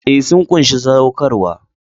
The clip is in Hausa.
Ee, sun ƙunshi saɗaukarwa.